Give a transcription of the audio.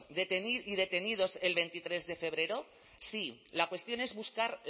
y detenidos el veintitrés de febrero sí la cuestión es buscar